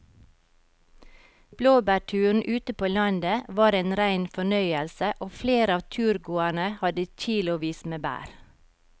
Blåbærturen ute på landet var en rein fornøyelse og flere av turgåerene hadde kilosvis med bær.